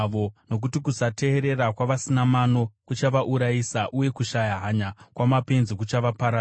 Nokuti kusateerera kwavasina mano kuchavaurayisa, uye kushaya hanya kwamapenzi kuchavaparadza;